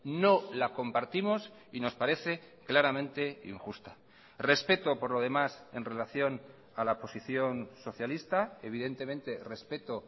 no la compartimos y nos parece claramente injusta respeto por lo demás en relación a la posición socialista evidentemente respeto